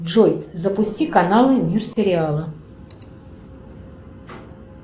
джой запусти каналы мир сериала